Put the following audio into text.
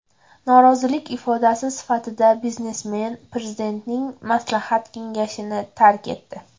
Norozilik ifodasi sifatida biznesmen prezidentning maslahat kengashini tark etdi.